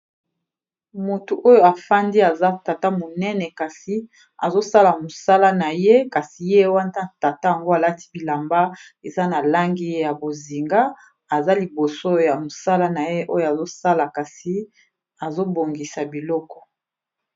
Motu oyo afandi aza tata monene kasi azosala mosala na ye kasi ye wanta tata yango alati bilamba eza na langi ya bozinga aza liboso ya mosala na ye oyo azosala kasi azobongisa biloko.